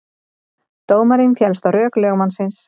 Dómarinn féllst á rök lögmannsins